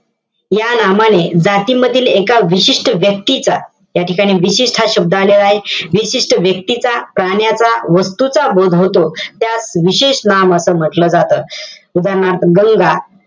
या नामाने जातीमधील एका विशिष्ट व्यक्तीचा, या ठिकाणी विशिष्ट हा शब्द आलेला आहे. विशिष्ट व्यक्तीचा, प्राण्याचा, वस्तूचा बोध होतो. त्यास विशेष नाम असं म्हंटल जातं. उदाहरणार्थ, गंगा,